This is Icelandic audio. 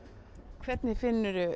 hvernig finnur þú